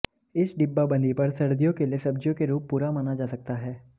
इस डिब्बाबंदी पर सर्दियों के लिए सब्जियों के रूप पूरा माना जा सकता है